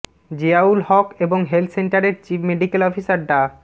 জিয়াউল হক এবং হেলথ সেন্টারের chief medical officer ডা